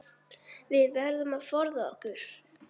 Við verðum að forða okkur.